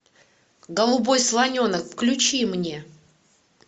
голубой слоненок включи мне